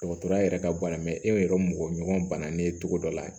Dɔgɔtɔrɔya yɛrɛ ka bana e yɛrɛ mɔgɔɲɔgɔn bananen cogo dɔ la